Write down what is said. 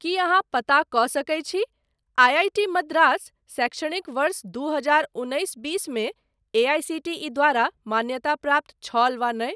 की अहाँ पता कऽ सकैत छी आई आई टी मद्रास शैक्षणिक वर्ष दू हजार उन्नैस बीस मे एआईसीटीई द्वारा मान्यताप्राप्त छल वा नहि।